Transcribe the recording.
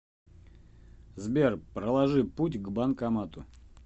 сбер проложи путь к банкомату